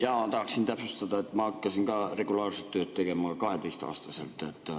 Jaa, ma tahaksin täpsustada, et ma hakkasin ka regulaarset tööd tegema 12‑aastaselt.